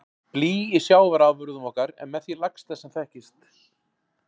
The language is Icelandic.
Blý í sjávarafurðum okkar er með því lægsta sem þekkist.